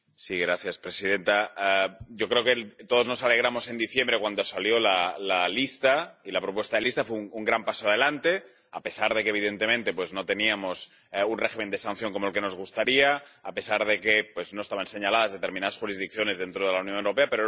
Señora presidenta, yo creo que todos nos alegramos en diciembre cuando salió la lista, y la propuesta de lista fue un gran paso adelante, a pesar de que, evidentemente, no teníamos un régimen de sanciones como el que nos gustaría y a pesar de que no estaban señaladas determinadas jurisdicciones dentro de la Unión Europea